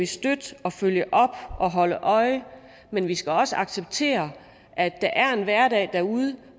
støtte og følge op og holde øje men vi skal også acceptere at der er en hverdagen derude